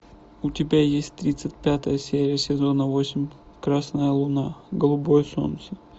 у тебя есть тридцать пятая серия сезона восемь красная луна голубое солнце